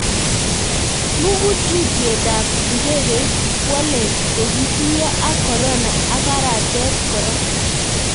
Mukutuutyetaab ab ndegeit Kwale kokituiyo ak corona ak aratet kora